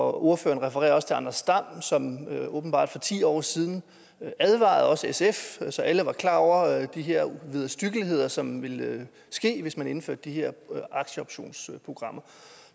og ordføreren refererer også til anders dam som åbenbart for ti år siden advarede også sf så alle var klar over de her vederstyggeligheder som ville ske hvis man indførte de her aktieoptionsprogrammer